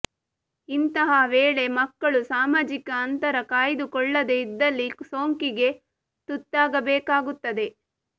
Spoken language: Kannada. ಇಂಥಯ ವೇಳೆ ಮಕ್ಕಳು ಸಾಮಾಜಿಕ ಅಂತರ ಕಾಯ್ದುಕೊಳ್ಳದೆ ಇದ್ದಲ್ಲಿ ಸೋಂಕಿಗೆ ತುತ್ತಾಗಬೇಕಾಗುತ್ತದೆ